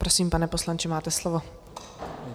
Prosím, pane poslanče, máte slovo.